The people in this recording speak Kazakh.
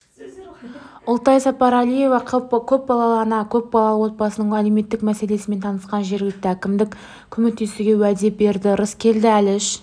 ұлтай сапарәлиева көпбалалы ана көпбалалы отбасының әлеуметтік мәселесімен танысқан жергілікті әкімдік көмектесуге уәде берді рыскелді әліш